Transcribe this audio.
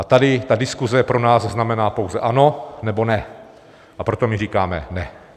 A tady ta diskuse pro nás znamená pouze ano, nebo ne, a proto my říkáme ne.